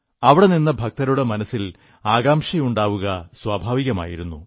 അവിടെ നിന്ന ഭക്തരുടെ മനസ്സിൽ ആകാംക്ഷയുണ്ടാവുക സ്വാഭാവികമായിരുന്നു